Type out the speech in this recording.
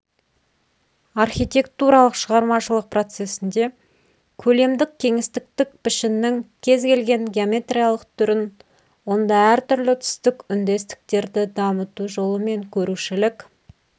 архитектуралық шығармашылық процесінде көлемдік-кеңістіктік пішіннің кез келген геометриялық түрін онда әртүрлі түстік үндестіктерді дамыту жолымен көрушілік